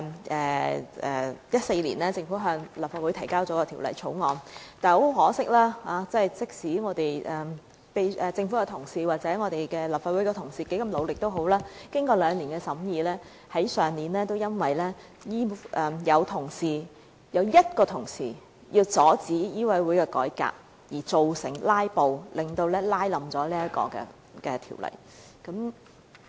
在2014年，政府向立法會提交《條例草案》，但很可惜，無論政府官員及立法會同事如何努力，經過兩年審議，去年因為有1名同事為了阻止香港醫務委員會的改革而"拉布"，因而亦拖垮了該項《條例草案》。